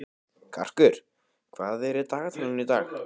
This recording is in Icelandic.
Karkur, hvað er í dagatalinu í dag?